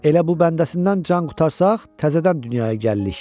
Elə bu bəndəsindən can qurtarsaq, təzədən dünyaya gəlirik.